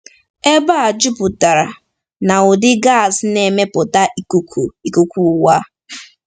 Ebe a juputara n’ụdị gas na-emepụta ikuku ikuku ụwa.